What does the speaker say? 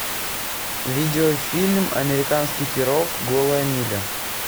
видео фильм американский пирог голая миля